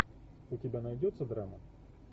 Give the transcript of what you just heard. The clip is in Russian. у тебя найдется драма